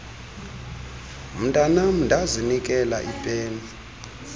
mntanam ndazinikela ipeni